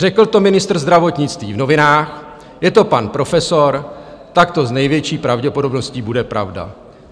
Řekl to ministr zdravotnictví v novinách, je to pan profesor, tak to s největší pravděpodobností bude pravda.